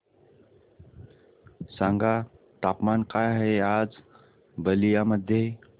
सांगा तापमान काय आहे आज बलिया मध्ये